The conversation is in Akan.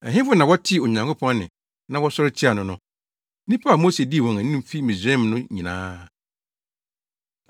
Ɛhefo na wɔtee Onyankopɔn nne na wɔsɔre tiaa no no? Nnipa a Mose dii wɔn anim fi Misraim no nyinaa.